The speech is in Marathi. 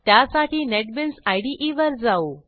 त्यासाठी नेटबीन्स इदे वर जाऊ